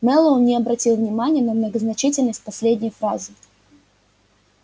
мэллоу не обратил внимания на многозначительность последней фразы